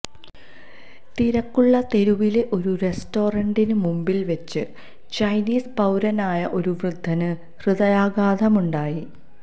തിരക്കുള്ള തെരുവിലെ ഒരു റെസ്റ്റോറന്റിന് മുമ്പില് വച്ച് ചൈനീസ് പൌരനായ ഒരു വൃദ്ധന് ഹൃദയാഘാതമുണ്ടായി